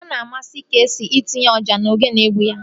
Ọ na-amasị Keesii itinye ọjà na ogene n'egwu ya